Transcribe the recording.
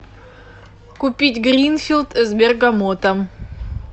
купить гринфилд с бергамотом